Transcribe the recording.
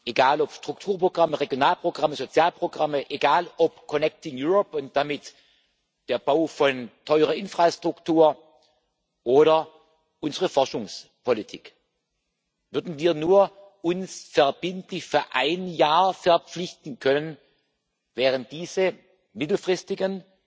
egal, ob Strukturprogramme, Regionalprogramme, Sozialprogramme, egal, ob Connecting Europe und damit der Bau von teurer Infrastruktur oder unsere Forschungspolitik würden wir uns verbindlich nur für ein Jahr verpflichten können, wären diese mittelfristigen,